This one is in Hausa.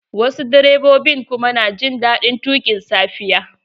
Wasu direbobin kuma na jin daɗin tuƙin safiya.